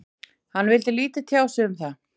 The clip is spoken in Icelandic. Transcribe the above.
Hann vildi lítið tjá sig um það.